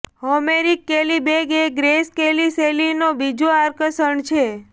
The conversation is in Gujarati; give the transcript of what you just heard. હોમેરિક કેલી બેગ એ ગ્રેસ કેલી શૈલીનો બીજો આકર્ષણ છે